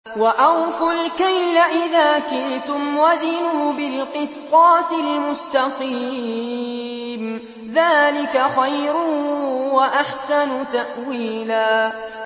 وَأَوْفُوا الْكَيْلَ إِذَا كِلْتُمْ وَزِنُوا بِالْقِسْطَاسِ الْمُسْتَقِيمِ ۚ ذَٰلِكَ خَيْرٌ وَأَحْسَنُ تَأْوِيلًا